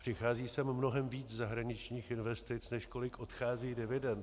Přichází sem mnohem víc zahraničních investic, než kolik odchází dividend.